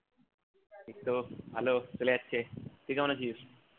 এইতো ভালো চলে যাচ্ছে তুই কেমন আছিস